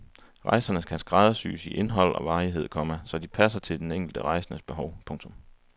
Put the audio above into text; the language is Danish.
Rejserne kan skræddersyes i indhold og varighed, komma så de passer de enkelte rejsendes behov. punktum